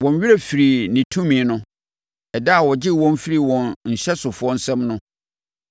Wɔn werɛ firii ne tumi no, ɛda a ɔgyee wɔn firii wɔn nhyɛsofoɔ nsam no,